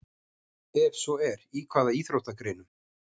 Ef svo er, í hvaða íþróttagreinum?